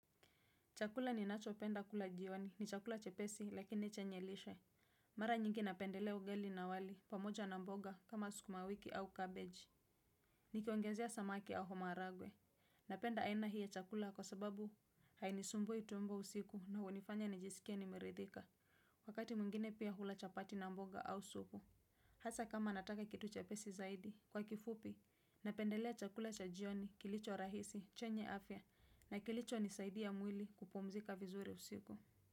Chakula ninacho penda kula jioni ni chakula chepesi lakini chenye lishe. Mara nyingi napendelea ugali na wali pamoja na mboga kama skumawiki au cabbage. Nikiongezea samaki au maharagwe. Napenda aina hiya chakula kwa sababu hainisumbui tumbo usiku na hunifanya nijisikie nimeridhika. Wakati mwingine pia hula chapati na mboga au supu. Hasa kama nataka kitu chepesi zaidi kwa kifupi, napendelea chakula cha jioni kilicho rahisi chenye afya na kilichonisaidia mwili kupumzika vizuri usiku.